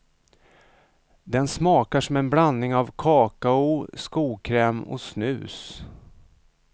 Den smakar som en blandning av kakao, skokräm och snus.